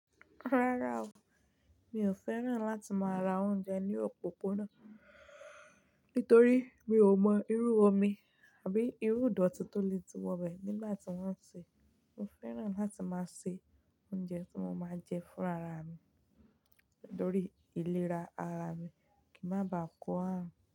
Rárá o, mi ò fẹ́ràn láti máa ra oúnjẹ ní òpópónà, nítorí mi ò mọ irú omi àbí irú ìdọ̀tí tó le ti wọ bẹ̀ nígbà tí wọ́n ń ṣe é. Mo fẹ́ràn láti máa ṣe oúnjẹ tí mo máa jẹ fún ara mi, torí ìlera ara mi kì í má ba à kó àrùn.